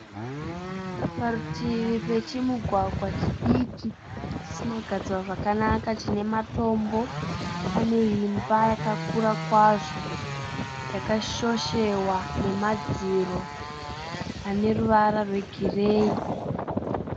Parutivi pechimugwagwa chidiki chisina kugadzirwa zvakanaka chine matombo. Pane imba yakakura kwazvo yakashoshewa nemadziro ane ruvara rwegireyi.